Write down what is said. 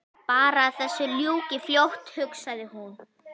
Bara að þessu ljúki fljótt hugsaði hún.